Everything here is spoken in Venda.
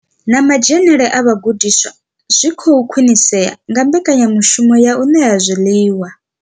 Na madzhenele a vhagudiswa zwi khou khwinisea nga mbekanyamushumo ya u ṋea zwiḽiwa.